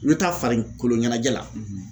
I bɛ taa farikoloɲɛnajɛ la